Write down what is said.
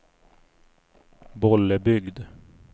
Bollebygd